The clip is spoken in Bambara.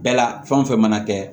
Bɛɛ la fɛn o fɛn mana kɛ